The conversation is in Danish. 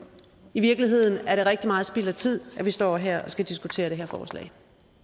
i virkeligheden rigtig meget spild af tid at vi står her og skal diskutere det her forslag